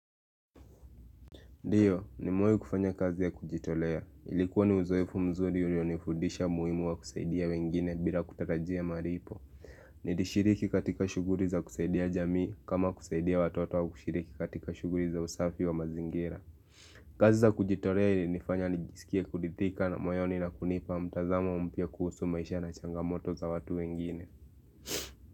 Ndiyo, ni mewai kufanya kazi ya kujitolea. Ilikuwa ni uzoefu mzuri ulionifudisha muhimu wa kusaidia wengine bila kutatajia maripo. Nilishiriki katika shughuri za kusaidia jamii kama kusaidia watoto wa kushiriki katika shuguri za usafi wa mazingira. Kazi za kujitolea ili nifanya nijisikia kuridhitika na moyoni na kunipa mtazamo mpia kuhusu maisha na changamoto za watu wengine.